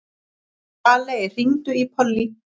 Valey, hringdu í Pollý.